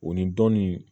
O ni dɔnni